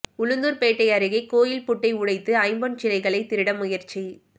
உளுந்தூா்பேட்டை அருகே கோயில் பூட்டை உடைத்து ஐம்பொன் சிலைகளை திருட முயற்சி